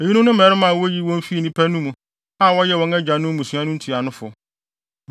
Eyinom ne mmarima a woyii wɔn fii nnipa no mu, a wɔyɛ wɔn agyanom mmusua no ntuanofo.